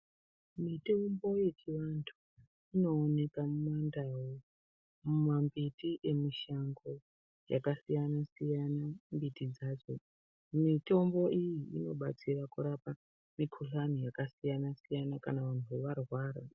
Mitombo yechiantu inooneka mundau mumambiti emushango yakasiyana siyana mbiti dzako mitombo iyi inobatsira kurapa mikuhlani yakasiyana siyana kana muntu arwara.